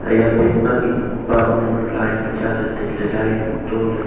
ya bank ma mihpa mihnyu line ma cha le taile line to le.